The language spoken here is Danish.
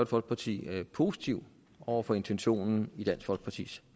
folkeparti positiv over for intentionen i dansk folkepartis